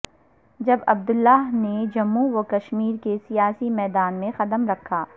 جب عبد اللہ نے جموں و کشمیر کے سیاسی میدان میں قدم رکھا